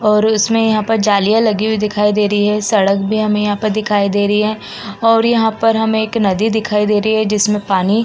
और इसमें यहाँ पर जलीयां लगी हुई दिखाई दे रही हैं। सड़क भी हमें यहां पर दिखाई दे रही हैं और यहां पर हमें एक नदी दिखाई दे रही है जिसमें पानी --